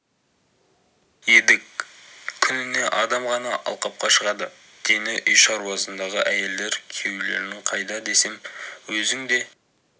едік күніне адам ғана алқапқа шығады дені үй шаруасындағы әйелдер күйеулерің қайда десем өзің де